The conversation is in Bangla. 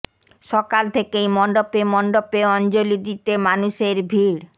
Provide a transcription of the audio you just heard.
সকাল থেকেই মণ্ডপে মণ্ডপে অঞ্জলি দিতে মানুষের ভিড়